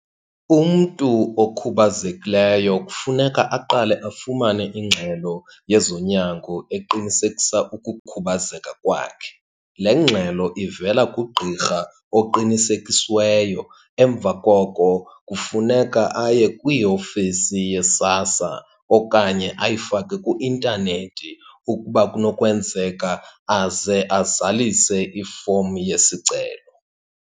Umntu okhubazekileyo kufuneka aqale afumane ingxelo yezonyango eqinisekisa ukukhubazeka kwakhe. Le ngxelo ivela kugqirha oqinisekisiweyo, emva koko kufuneka aye kwiofisi yeSASSA okanye ayifake kwi-intanethi ukuba kunokwenzeka, aze azalise ifomu yesicelo.